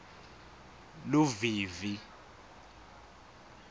luvivi